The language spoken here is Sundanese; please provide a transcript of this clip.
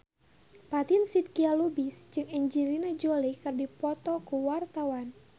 Fatin Shidqia Lubis jeung Angelina Jolie keur dipoto ku wartawan